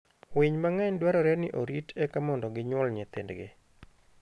winy mang'eny dwarore ni orit eka mondo gi nyuol nyithindgi.